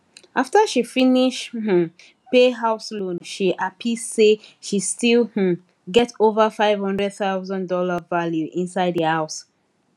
after she finish um pay house loan she happy say she still um get over five hundred thousand dollar value inside the house